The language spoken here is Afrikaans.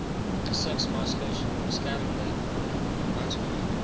gesigsmaskers beskermende handskoene